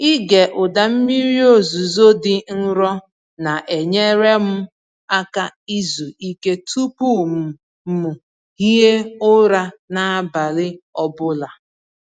Ịge ụda mmiri ozuzo dị nro na-enyere m aka izu ike tupu m m hie ụra n’abalị ọ bụla.